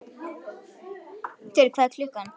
Styrr, hvað er klukkan?